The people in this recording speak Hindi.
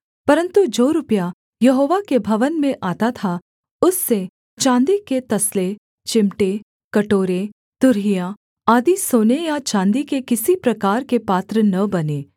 परन्तु जो रुपया यहोवा के भवन में आता था उससे चाँदी के तसले चिमटे कटोरे तुरहियां आदि सोने या चाँदी के किसी प्रकार के पात्र न बने